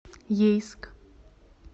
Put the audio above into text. ейск